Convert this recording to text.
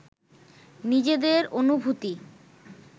নিজেদের অনুভূতি